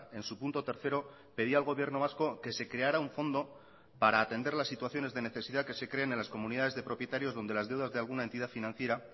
en su punto tercero pedía al gobierno vasco que se creara un fondo para atender las situaciones de necesidad que se creen en las comunidades de propietarios donde las deudas de alguna entidad financiera